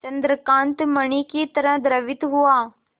चंद्रकांत मणि ही तरह द्रवित हुआ